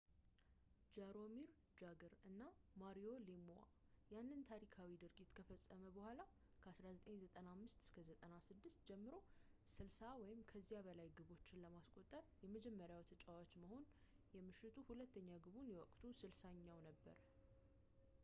ጃሮሚር ጃግር እና ማሪዮ ሌምዋ ያንን ታሪካዊ ድርጊት ከፈጸሙ በኋላ፣ ከ1995-96 ጀምሮ 60 ወይም ከዚያ በላይ ግቦችን ለማስቆጠር የመጀመሪያው ተጫዋች መሆን፣ የምሽቱ ሁለተኛ ግቡ የወቅቱ 60ኛው ነበር